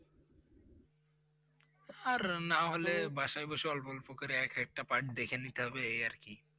আর নাহলে বাসায় বসে অল্প অল্প করে এক একটা Part দেখে নিতে হবে। এই আর কি!